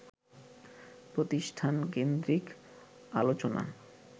প্রতিষ্ঠানকেন্দ্রিক আলোচনা